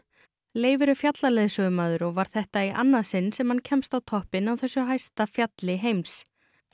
Leifur er fjallaleiðsögumaður og var þetta í annað sinn sem hann kemst á toppinn á þessu hæsta fjalli heims